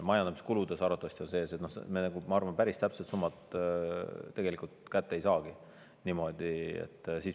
Majandamiskuludes arvatavasti on sees, noh, ma arvan, et me päris täpset summat tegelikult kätte ei saagi niimoodi.